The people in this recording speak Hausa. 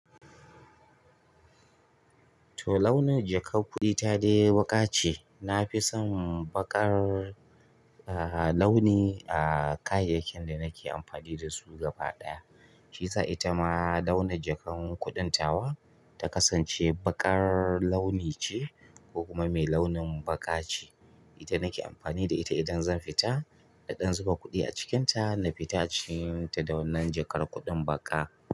To launin jakar kuɗi ta dai baƙa ce. Na fi son baƙar, ah, launi a kayayyakin da nake amfani da su gaba ɗaya. Shi sa ita ma launin jakan kuɗin tawa ta kasance baƙar launi ce ko kuma mai launin baƙa ce. Ita nake amfani da ita idan zan fita, na ɗan zuba kuɗi a cikinta na fita a ci ta da wannan jakar kuɗin baƙa.